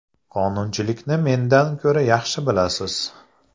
Qonunchilikni mendan ko‘ra yaxshi bilasiz!